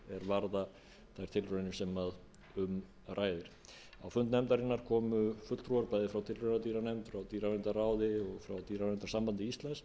varða þær tilraunir sem um ræðir á fund nefndarinnar komu fulltrúar bæði frá tilraunadýranefnd frá dýraverndarráði og svo dýraverndunarsambandi íslands